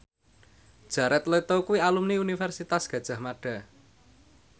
Jared Leto kuwi alumni Universitas Gadjah Mada